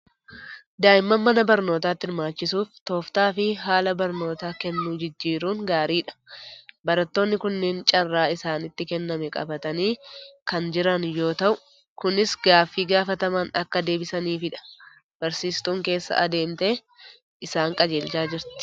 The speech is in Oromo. Daa'imman mana barnootaatti hirmaachisuuf tooftaa fi haala barnoota kennuu jijjiiruun gaariidha. Barattoonni kunneen carraa isaanitti kenname qabatanii kan jiran yoo ta'u, kunis gaaffii gaafataman akka deebisaniifidha. Barsiistuun keessa adeemtee isaan qajeelchaa jirti.